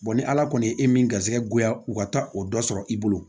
ni ala kɔni ye e min garisigɛ digoya u ka taa o dɔ sɔrɔ i bolo